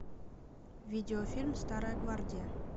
видеофильм старая гвардия